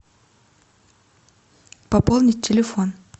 пополнить телефон